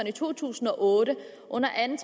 i to tusind og otte under anden